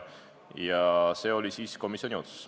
Kuid selline oli komisjoni otsus.